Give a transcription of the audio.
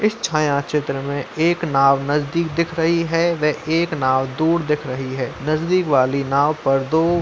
इस छायाचित्र में एक नाव नजदीक दिख रही है वह एक नाव दूर दिख रही है नजदीक दिखने वाली नाव पर दो --